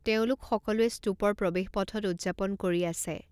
তেওঁলোক সকলোৱে স্তূপৰ প্ৰৱেশপথত উদযাপন কৰি আছে।